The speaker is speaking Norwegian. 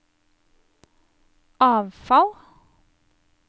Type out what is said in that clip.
avfall